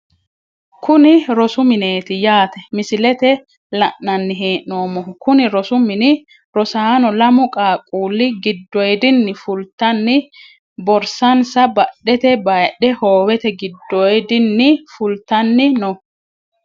Kuni rosu mineeti yaate misilete la`nani heenomohu kuni rosu mini rosaano lamu qaaquuli gidoyidini fultani borsansa badhete bayidhe hoowete gidoyidini fultani no.